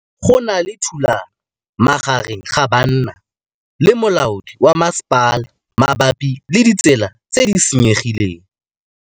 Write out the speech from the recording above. Go na le thulanô magareng ga banna le molaodi wa masepala mabapi le ditsela tse di senyegileng.